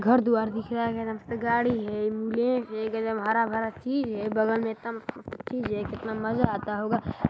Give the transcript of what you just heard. घर द्वार दिख रहा गाड़ी है लेक है हरा -भरा झील है बगल में एकदम कितना मज़्ज़ा आता होगा--